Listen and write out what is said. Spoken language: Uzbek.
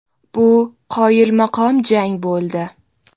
Bu qoyilmaqom jang bo‘ldi.